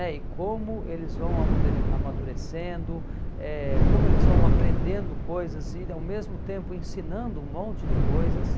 é, e como eles vão amodure amadurecendo, eh como eles vão aprendendo coisas e ao mesmo tempo ensinando um monte de coisas.